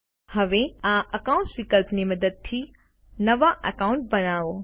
હવે આ અકાઉન્ટ્સ વિકલ્પની મદદથી નવા એકાઉન્ટ બનાઓ